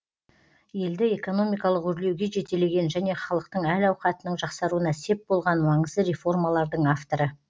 елді экономикалық өрлеуге жетелеген және халықтың әл ауқатының жақсаруына сеп болған маңызды реформалардың авторы